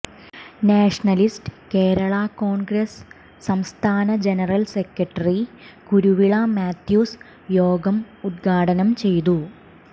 nationalist Kerala Congress സംസ്ഥാന general secretary Kuruvila Mathews യോഗം ഉദ്ഘാടനം ചെയ്തു